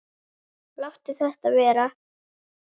Láttu þetta vera!